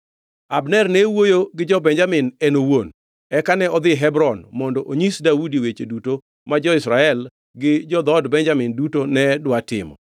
Abner ne owuoyo gi jo-Benjamin en owuon. Eka ne odhi Hebron mondo onyis Daudi weche duto ma jo-Israel gi dhood Benjamin duto ne dwa timo.